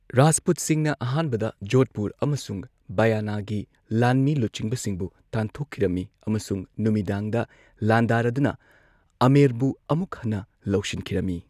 ꯔꯥꯖꯄꯨꯠꯁꯤꯡꯅ ꯑꯍꯥꯟꯕꯗ ꯖꯣꯙꯄꯨꯔ ꯑꯃꯁꯨꯡ ꯕꯌꯥꯅꯥꯒꯤ ꯂꯥꯟꯃꯤ ꯂꯨꯆꯤꯡꯕꯁꯤꯡꯕꯨ ꯇꯥꯟꯊꯣꯛꯈꯤꯔꯝꯃꯤ ꯑꯃꯁꯨꯡ ꯅꯨꯃꯤꯗꯥꯡꯗ ꯂꯥꯟꯗꯥꯔꯗꯨꯅ ꯑꯃꯦꯔꯕꯨ ꯑꯃꯨꯛ ꯍꯟꯅ ꯂꯧꯁꯤꯟꯈꯤꯔꯝꯃꯤ꯫